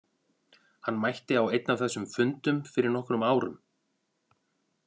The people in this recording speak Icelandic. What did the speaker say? Hann mætti á einn af þessum fundum fyrir nokkrum árum.